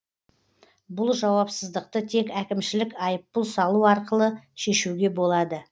бұл жауапсыздықты тек әкімшілік айыппұл салу арқылы шешуге болады